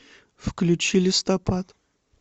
включи листопад